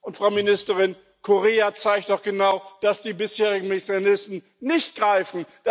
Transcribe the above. Und, Frau Ministerin, Korea zeigt doch genau, dass die bisherigen Mechanismen nicht greifen.